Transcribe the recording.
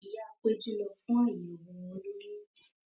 Ìyáa Péjú ti lọ fún àyẹ̀wò olóyún.